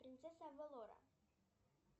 принцесса авалора